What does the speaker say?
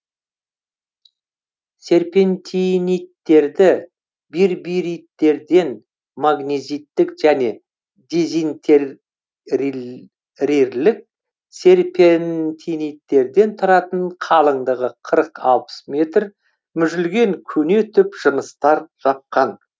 серпентиниттерді бирбириттерден магнезиттік және дезинтер рел рерлік серпентиниттерден тұратын қалындығы қырық алпыс метр мүжілген көне түп жыныстар жапқан